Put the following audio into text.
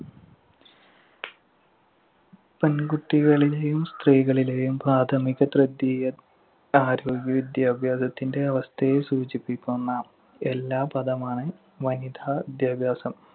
പെൺകുട്ടികളിലെയും സ്ത്രീകളിലെയും പ്രാഥമിക തൃതീയ, ആരോഗ്യ വിദ്യാഭ്യാസത്തിന്‍റെ അവസ്ഥയെ സൂചിപ്പിക്കുന്ന എല്ലാ പദമാണ് വനിതാ വിദ്യാഭ്യാസം.